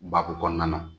Baku kɔnɔna na